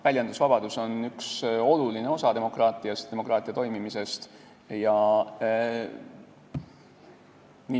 Väljendusvabadus on üks oluline osa demokraatiast, demokraatia toimimisest.